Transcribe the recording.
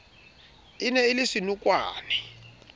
e ne e le senokwane